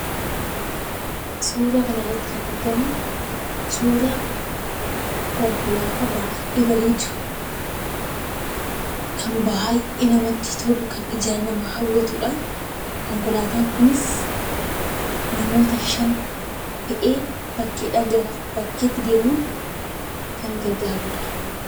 Suuraa kana irratti kan argamu, Konkolaataa baay'ee bareedu, baay'ee namati kan toludha, kan nama hawwatudha. Konkolaataan kunis namoota shan (5) fe'ee bakkaa gara bakkaatti kan deemudha.